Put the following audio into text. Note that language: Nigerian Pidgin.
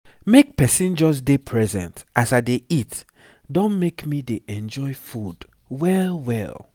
make pesin just dey present as i dey eat don make me dey enjoy food well well